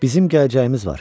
Bizim gələcəyimiz var.